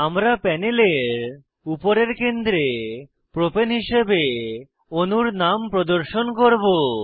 আমরা প্যানেলের উপরের কেন্দ্রে প্রপাণে হিসাবে অণুর নাম প্রদর্শন করব